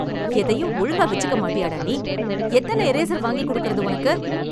எதையும் ஒழுங்கா வெச்சுக்க மாட்டியா டா நீ? எத்தன இரேசர் வாங்கிக் கொடுக்குறது உனக்கு!